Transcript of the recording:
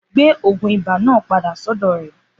Gbé ogun ibà náà padà sọ́dọ̀ rè